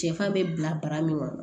Sɛfan bɛ bila bara min kɔnɔ